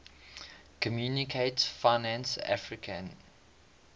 communaute financiere africaine